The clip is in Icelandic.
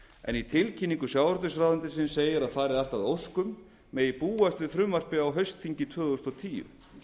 tíu í tilkynningu sjávarútvegsráðuneytisins segir að fari allt að óskum megi búast við frumvarpi á haustþingi tvö þúsund og tíu